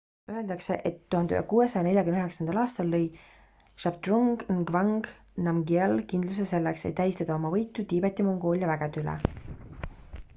öeldakse et 1649 aastal lõi zhabdrung ngawang namgyel kindluse selleks et tähistada oma võitu tiibeti-mongoolia vägede üle